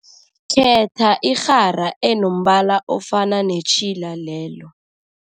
Khetha irhara enombala ofana netjhila lelo.